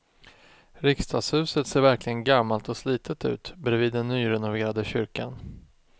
Riksdagshuset ser verkligen gammalt och slitet ut bredvid den nyrenoverade kyrkan.